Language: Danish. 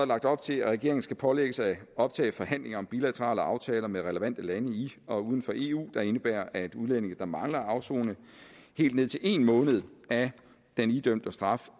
lagt op til at regeringen skal pålægges at optage forhandlinger om bilaterale aftaler med relevante lande i og uden for eu der indebærer at udlændinge der mangler at afsone helt ned til en måned af den idømte straf